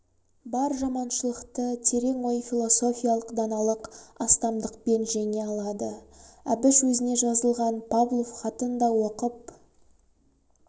бар жаманшылықты терең ой философиялық даналық астамдықпен жеңе алады әбіш өзіне жазылған павлов хатын да оқып